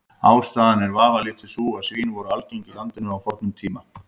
Ástæðan er vafalítið sú að svín voru algeng í landinu á fornum tíma.